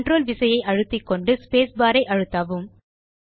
control விசையை அழுத்திக்கொண்டு space bar ஐ அழுத்தவும்